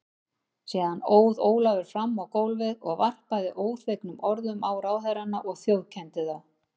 Síðan óð Ólafur fram á gólfið og varpaði óþvegnum orðum á ráðherrana og þjófkenndi þá.